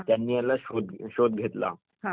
पण अगोदर संगणक नाही का